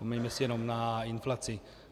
Vzpomeňme si jenom na inflaci.